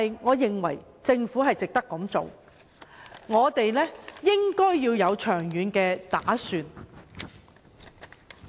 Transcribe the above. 我認為政府值得這樣做，也應該作出長遠打算。